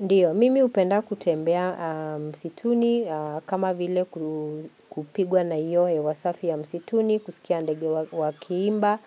Ndiyo, mimi hupenda kutembea msituni kama vile kupigwa na hiyo hewa safi ya msituni, kusikia ndege wakiimba